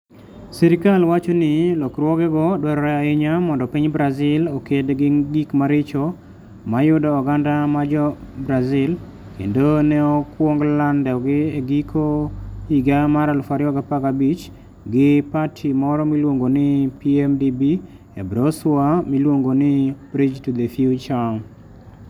Sirkal wacho ni lokruogego dwarore ahinya mondo piny Brazil oked gi gik maricho mayudo oganda mar Jo - Brazil kendo ne okwong landogi e giko higa mar 2015 gi pati moro miluongo ni PMDB e brosua miluongo ni "Bridge to the Future. "